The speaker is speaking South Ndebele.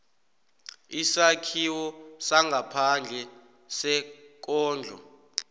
isakhiwo sangaphandle sekondlo